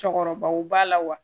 Cɔkɔrɔbaw b'a la wa